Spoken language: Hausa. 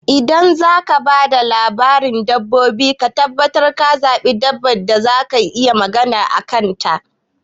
Idan zaka ba da labarin dabbobi ka tabbatar ka zaɓi dabba ɗaya da zakayi magana a kan ta